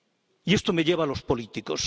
Y esto me lleva a los políticos.